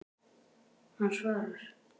Hann svarar.